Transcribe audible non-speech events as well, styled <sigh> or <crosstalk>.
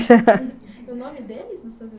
<laughs> O nome deles?